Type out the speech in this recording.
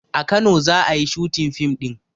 A kano za ayi shooting fim ɗin